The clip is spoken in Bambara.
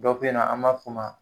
Dɔw be yen nɔ, an b'a f'u ma